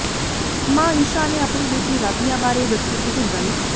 ਮਾਂ ਈਸ਼ਾ ਨੇ ਆਪਣੀ ਬੇਟੀ ਰਾਧਿਆ ਬਾਰੇ ਦੱਸੀ ਇਹ ਗੱਲ